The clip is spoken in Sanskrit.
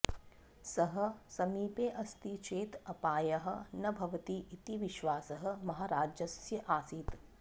सः समीपे अस्ति चेत् अपायः न भवति इति विश्वासः महाराजस्य आसीत्